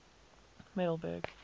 middelburg